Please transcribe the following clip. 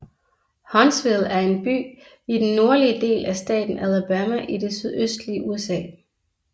Huntsville er en by i den nordlige del af staten Alabama i det sydøstlige USA